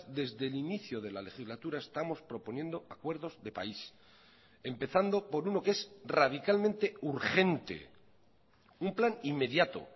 desde el inicio de la legislatura estamos proponiendo acuerdos de país empezando por uno que es radicalmente urgente un plan inmediato